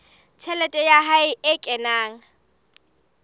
tjhelete ya hae e kenang